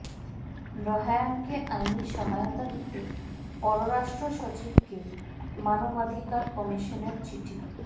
রায়হানকে আইনি সহায়তা দিতে পররাষ্ট্র সচিবকে মানবাধিকার কমিশনের চিঠি